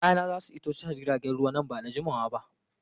Kayana za su iso tashar jiragen ruwa nan ba da jimawa ba.